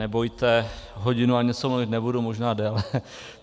Nebojte, hodinu a něco mluvit nebudu, možná déle.